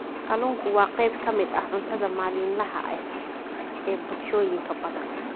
Kalluunku waa qayb ka mid ah cuntada maalinlaha ah ee bulshooyin badan.